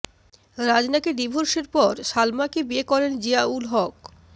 রাজনাকে ডিভোর্সের পর সালমাকে বিয়ে করেন জিয়াউল হক